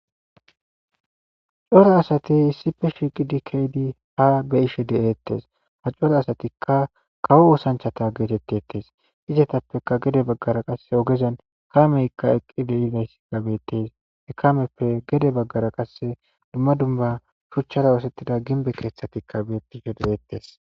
Coro asati issife shiiqidi keydi ha be ishe de'eettes ha coro asatikka kawo usanchata geetetteettes izetappeka gede baggara qasse ogezen kameykka eqqidleys gabettes ekameppe gede baggara qasse dumma dumba shuchchara oosettida ginbe keeththatikka beettishe de'eettes